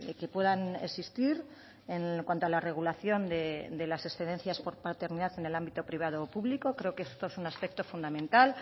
que puedan existir en cuanto a la regulación de las excedencias por paternidad en el ámbito privado o público creo que esto es un aspecto fundamental